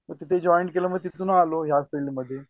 मग तिथे जॉईन्ड केला मग तिथून आलो ह्या फिल्डमध्ये